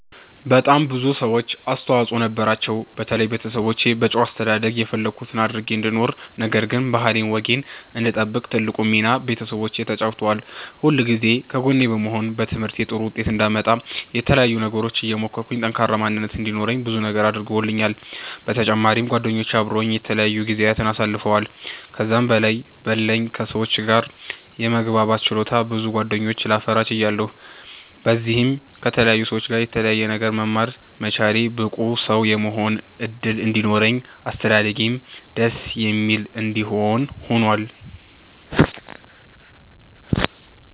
በጣም ብዙ ሰዎች አስተዋፅኦ ነበራቸዉ። በተለይ ቤተሰቦቼ በጨዋ አስተዳደግ የፈለኩት አድርጌ እንድኖር ነገር ግን ባህሌን ወጌን እንድጠብቅ ትልቁን ሚና ቤተሰቦቼ ተጫዉተዋል። ሁልጊዜም ከጎኔ በመሆን በትምህርቴ ጥሩ ዉጤት አንዳመጣ የተለያዩ ነገሮችን እየሞከርኩ ጠንካራ ማንነት እንዲኖረኝ ብዙ ነገር አድርገዉልኛል። በተጫማሪም ጓደኞቼ አበረዉኝ የተለያዩ ጊዚያቶችን አሳልፈዋል። ከዛም በላይ በለኝ ከ ሰዎች ጋር የመግባባት ችሎታ ብዙ ጌደኞችን ላፈራ ችያለሁ። በዚህም ከተለያዩ ሰዎች የተለያየ ነገር መማር መቻሌ ብቁ ሰዉ የመሆን እድል እንዲኖረኝ አስተዳደጌም ደስ የሚል እንዲሆን ሁኗል።